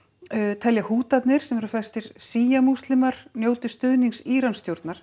telja að Hútarnir sem eru flestir múslimar njóti stuðnings